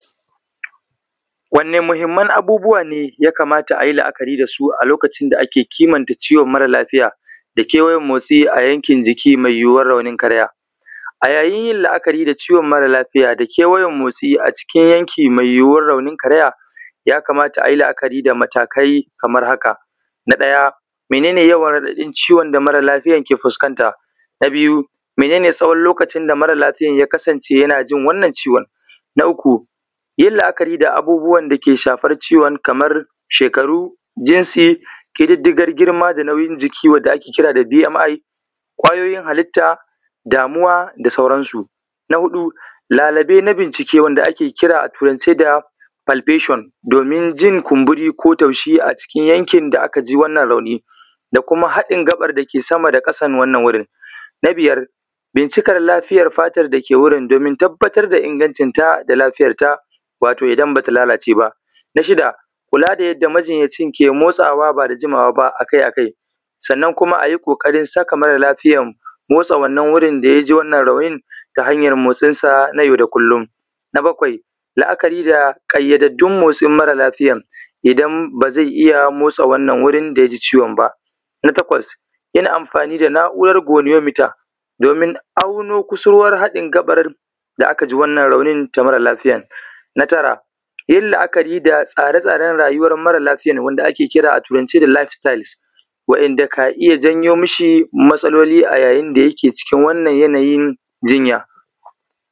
Wanne muhimman abubuwa ne ya kamata a yi la’akari da su a lokacin da ake kimanta ciwon mara lafiya da kewayen motsi a yankin jiki mai yiwuwar raunin karaya? A yayin yin la’akari da ciwon mara lafiya da kewayen motsi a cikin yanki mai yiwuwar raunin karaya, ya kamata a yi la’akari da matakai kamar haka: Na ɗaya, mene ne yawan raɗaɗin ciwon da mara lafiyan ke fuskanta? Na biyu, mene ne tsawon lokacin da mara lafiyan ya kasance yana jin wannan ciwon? Na uku, yin la’akari da abubuwan da ke shafar ciwon kaman shekaru, jinsi, ƙididdigar giema da nauyin jiki wanda ake kira da B.M.I, ƙwayoyin halitta, damuwa da sauransu. Na huɗu, lalube na bincike wanda ake kira a Turance da ‘palbation’ domin jin kumburi ko taushi a cikin yankin da aka ji wannan rauni da kuma haɗin gaɓar da ke sama da ƙasan wannan wurin. Na biyar, bincikar lafiyar fatar da ke wurin domin tabbatar da ingancinta da lafiyarta, wato idan ba ta lalace ba. Na shida, kula da yadda majinyacin ke motsawa ba da jimawa ba a kai a kai, sannan kuma a yi ƙoƙarin saka mara lafiyan motsa wannan wurin da ya ji wannan raunin ta hanyar motsinsa nay au da kullum. Na bakwai, la’akari da ƙayyadaddun motsin mara lafiyan, idan ba zai iya motsa wurin da ya ji wannan ciwon ba. Na takwas, yin amfani da na’urar goniometer domin auno kusurwar haɗin gaɓar da aka ji wannan raunin ta mara lafiyan. Na tara, yin la’akari da tsare tsaren rayuwar mara lafiyan wanda ake kira a Turance da ‘life styles’ waɗanda ka iya jawo mashi matsaloli a yayin da yake cikin wannan yanayin jinya.